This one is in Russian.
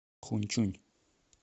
хуньчунь